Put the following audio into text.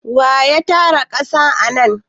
Wa ya tara ƙasa anan?